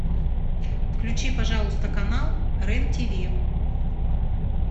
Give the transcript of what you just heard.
включи пожалуйста канал рен тв